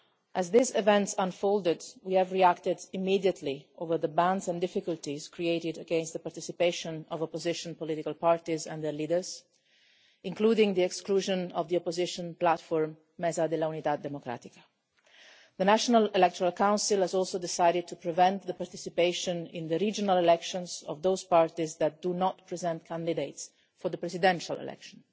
As these events unfolded, we reacted immediately over the bans and difficulties created to prevent the participation of opposition political parties and their leaders, including the exclusion of the opposition platform, Mesa de la Unidad Democrática. The National Electoral Council has also decided to prevent the participation in the regional elections of those parties that do not present candidates for the presidential election.